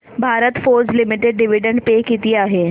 Bharat Forge Limited dividend pay किती आहे